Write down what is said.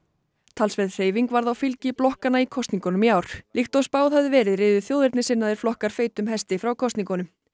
talsverð hreyfing varð á fylgi blokkanna í kosningunum í ár líkt og spáð hafði verið riðu þjóðernissinnaðir flokkar feitum hesti frá kosningunum